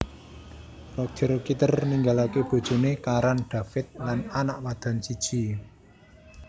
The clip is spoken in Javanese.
Roger Kitter ninggalaké bojoné Karan David lan anak wadon siji